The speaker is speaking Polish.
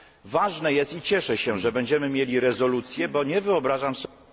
Ważne jest i cieszę się, że będziemy mieli rezolucję, bo nie wyobrażam sobie...